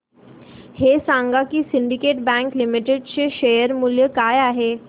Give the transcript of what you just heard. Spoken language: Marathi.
हे सांगा की सिंडीकेट बँक लिमिटेड चे शेअर मूल्य काय आहे